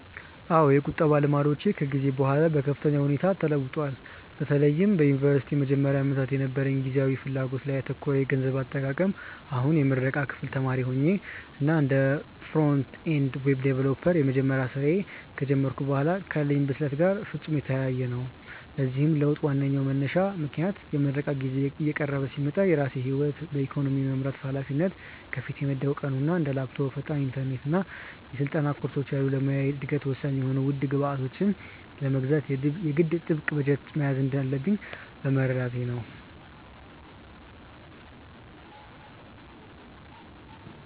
አዎ፣ የቁጠባ ልማዶቼ ከጊዜ በኋላ በከፍተኛ ሁኔታ ተለውጠዋል፤ በተለይም በዩኒቨርሲቲ መጀመሪያ ዓመታት የነበረኝ ጊዜያዊ ፍላጎት ላይ ያተኮረ የገንዘብ አጠቃቀም አሁን የምረቃ ክፍል ተማሪ ሆኜ እና እንደ ፍሮንት-ኤንድ ዌብ ዲቨሎፐር የመጀመሪያ ስራዬን ከጀመርኩ በኋላ ካለኝ ብስለት ጋር ፍጹም የተለያየ ነው። ለዚህ ለውጥ ዋነኛው መንሳሽ ምክንያት የምረቃ ጊዜዬ እየቀረበ ሲመጣ የራሴን ህይወት በኢኮኖሚ የመምራት ሃላፊነት ከፊቴ መደቀኑ እና እንደ ላፕቶፕ፣ ፈጣን ኢንተርኔት እና የስልጠና ኮርሶች ያሉ ለሙያዊ እደገቴ ወሳኝ የሆኑ ውድ ግብዓቶችን ለመግዛት የግድ ጥብቅ በጀት መያዝ እንዳለብኝ መረዳቴ ነው።